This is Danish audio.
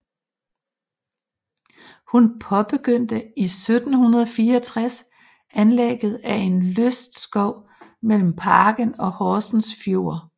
Hun påbegyndte i 1764 anlægget af en lystskov mellem parken og Horsens Fjord